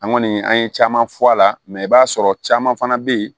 An kɔni an ye caman fɔ a la mɛ i b'a sɔrɔ caman fana bɛ yen